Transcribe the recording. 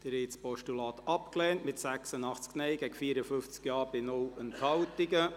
Sie haben das Postulat abgelehnt, mit 86 Nein- gegen 54 Ja-Stimmen bei 0 Enthaltungen.